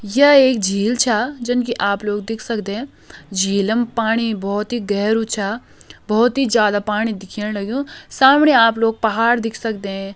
या एक झील छ जन की आप लोग देख सकदे झीलम पाणी बहोत ही गेहरो छ बहोत ही ज्यादा पाणी दिख्येण लग्युं समणी आप लोग पहाड़ देख सकदें।